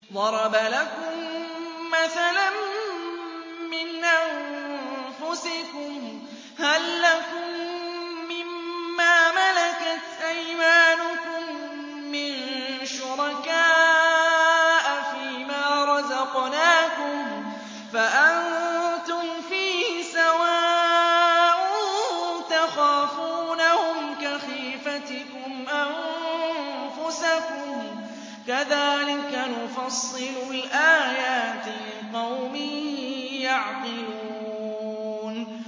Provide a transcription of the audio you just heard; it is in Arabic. ضَرَبَ لَكُم مَّثَلًا مِّنْ أَنفُسِكُمْ ۖ هَل لَّكُم مِّن مَّا مَلَكَتْ أَيْمَانُكُم مِّن شُرَكَاءَ فِي مَا رَزَقْنَاكُمْ فَأَنتُمْ فِيهِ سَوَاءٌ تَخَافُونَهُمْ كَخِيفَتِكُمْ أَنفُسَكُمْ ۚ كَذَٰلِكَ نُفَصِّلُ الْآيَاتِ لِقَوْمٍ يَعْقِلُونَ